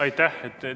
Aitäh!